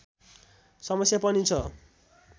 समस्या पनि छ